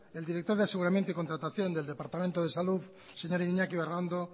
el director de aseguramiento y contratación del departamento de salud el señor iñaki berraondo